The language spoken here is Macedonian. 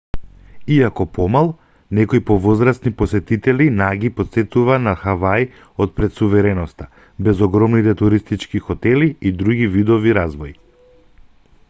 иако помал некои повозрасни посетители на ги потсетува на хаваи од пред сувереноста без огромните туристички хотели и други видови развој